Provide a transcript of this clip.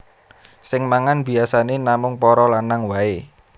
Sing mangan biyasané namung para lanang waé